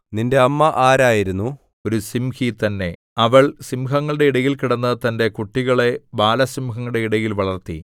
നിന്റെ അമ്മ ആരായിരുന്നു ഒരു സിംഹി തന്നെ അവൾ സിംഹങ്ങളുടെ ഇടയിൽ കിടന്ന് തന്റെ കുട്ടികളെ ബാലസിംഹങ്ങളുടെ ഇടയിൽ വളർത്തി